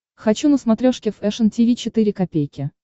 хочу на смотрешке фэшн ти ви четыре ка